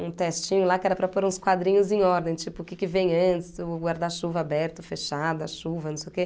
um testinho lá que era para pôr uns quadrinhos em ordem, tipo o que que vem antes, o guarda-chuva aberto, fechado, a chuva, não sei o quê.